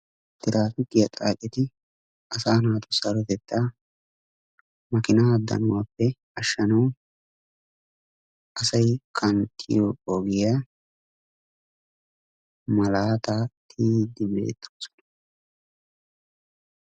Traafikkiya xaacceti asa naatussi sarotettaa makkiina danuwappe ashanawu asay qanxxiyo ogiya malaata tiyidi beettoosona.